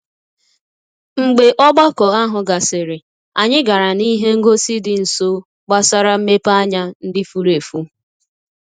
Mgbe ogbako ahụ gasịrị, anyị gara n'ihe ngosi dị nso gbasara mmepeanya ndị furu efu.